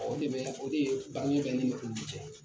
O de bɛ o de ye bange bɛ ne ni olu cɛ